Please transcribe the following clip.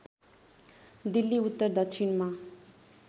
दिल्ली उत्तर दक्षिणमा